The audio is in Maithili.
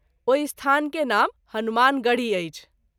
ओहि स्थान के नाम हनुमानगढ़ी अछि।